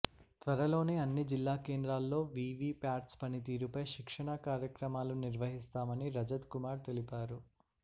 త్వరలోనే అన్ని జిల్లా కేంద్రాల్లో వీవీ ప్యాట్స్ పనితీరుపై శిక్షణా కార్యక్రమాలు నిర్వహిస్తామని రజత్ కుమార్ తెలిపారు